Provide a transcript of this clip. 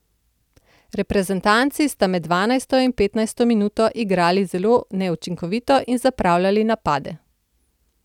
Reprezentanci sta med dvanajsto in petnajsto minuto igrali zelo neučinkovito in zapravljali napade.